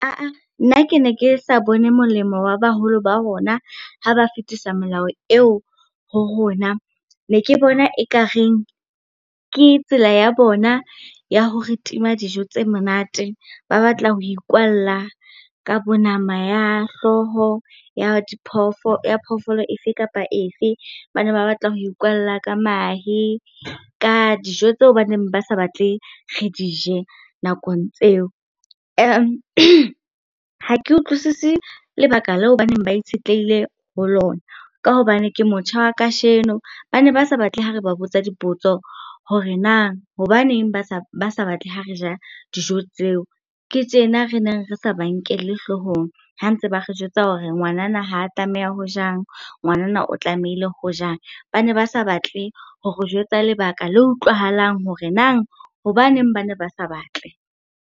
nna ke ne ke sa bone molemo wa baholo ba rona, ha ba fetisa melao eo ho rona. Ne ke bona ekareng ke tsela ya bona ya hore tima dijo tse monate, ba batla ho ikwalla ka bo nama ya hlooho ya ya phoofolo efe kapa efe. Ba ne ba batla ho ikwalla ka mahe, ka dijo tseo ba neng ba sa batle re di je nakong tseo. Ha ke utlwisise lebaka leo baneng ba itshetlehile ho lona, ka hobane ke motjha wa kasheno. Ba ne ba sa batle ha re ba botsa dipotso hore na hobaneng ba sa batle ha re ja dijo tseo. Ke tjena re neng re sa ba nkelle hlohong, ha ntse ba re jwetsa hore ngwanana ha tlameha ho jang, ngwanana o tlamehile ho jang. Ba ne ba sa batle ho re jwetsa lebaka le utlwahalang hore nang hobaneng ba ne ba sa batle.